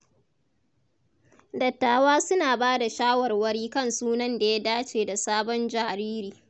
Dattawa suna ba da shawarwari kan sunan da ya dace da sabon jariri.